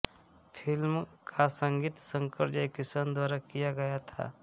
film का संगीत शंकरजयकिशन द्वारा किया गया था